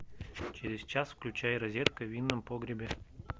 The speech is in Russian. через час включай розетка в винном погребе